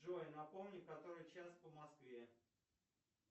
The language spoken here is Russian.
джой напомни который час по москве